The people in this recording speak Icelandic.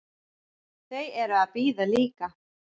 Þau eru að bíða líka.